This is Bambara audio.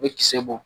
U bɛ kisɛ bɔ